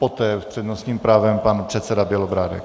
Poté s přednostním právem pan předseda Bělobrádek.